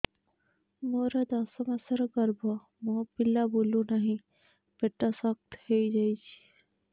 ମୋର ଦଶ ମାସର ଗର୍ଭ ମୋ ପିଲା ବୁଲୁ ନାହିଁ ପେଟ ଶକ୍ତ ହେଇଯାଉଛି